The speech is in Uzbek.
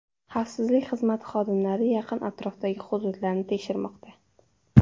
Xavfsizlik xizmati xodimlari yaqin atrofdagi hududlarni tekshirmoqda.